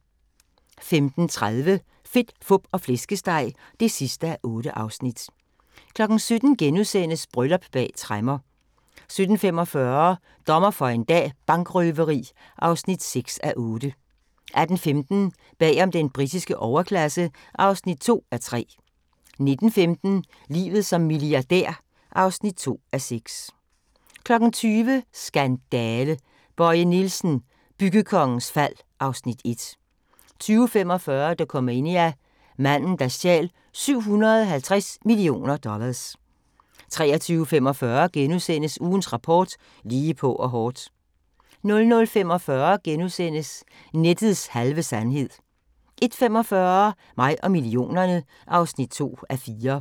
15:30: Fedt, fup og flæskesteg (8:8) 17:00: Bryllup bag tremmer * 17:45: Dommer for en dag – Bankrøveri (6:8) 18:15: Bag om den britiske overklasse (2:3) 19:15: Livet som milliardær (2:6) 20:00: Skandale! – Bøje Nielsen, byggekongens fald (Afs. 1) 20:45: Dokumania: Manden der stjal 750 millioner dollars 23:45: Ugens rapport: Lige på og hårdt * 00:45: Nettets halve sandhed * 01:45: Mig og millionerne (2:4)